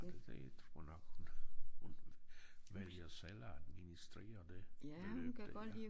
Det tror jeg nok hun hun vælger selv at administrere det beløb der